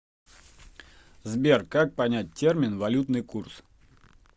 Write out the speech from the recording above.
сбер как понять термин валютный курс